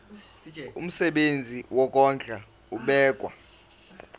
umsebenzi wokondla ubekwa